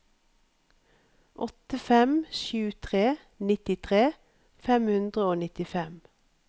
åtte fem sju tre nittitre fem hundre og nittifem